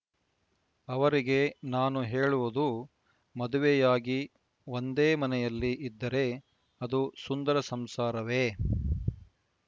ಅವರಿಗೆ ನಾನು ಹೇಳುವುದು ಮದುವೆಯಾಗಿ ಒಂದೇ ಮನೆಯಲ್ಲಿ ಇದ್ದರೆ ಅದು ಸುಂದರ ಸಂಸಾರವೇ